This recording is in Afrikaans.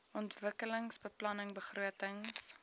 ontwikkelingsbeplanningbegrotings